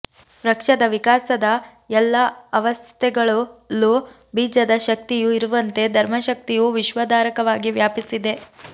ವೃಕ್ಷದ ವಿಕಾಸದ ಎಲ್ಲ ಅವಸ್ಥೆಗಳಲ್ಲೂ ಬೀಜದ ಶಕ್ತಿಯು ಇರುವಂತೆ ಧರ್ಮಶಕ್ತಿಯು ವಿಶ್ವಧಾರಕವಾಗಿ ವ್ಯಾಪಿಸಿದೆ